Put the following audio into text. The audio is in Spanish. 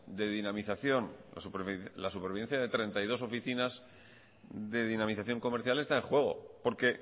de dinamización la supervivencia de treinta y dos oficinas de dinamización comercial está en juego porque